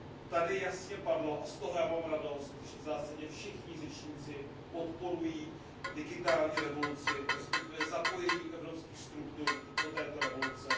Tady jasně padlo a z toho já mám radost, že v zásadě všichni řečníci podporují digitální revoluci, respektive zapojení evropských struktur do této revoluce.